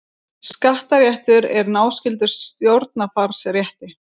Skattaréttur er náskyldur stjórnarfarsrétti.